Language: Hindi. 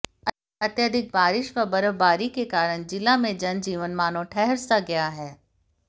अत्याधिक बारिश व बर्फबारी के कारण जिला में जनजीवन मानों ठहर सा गया है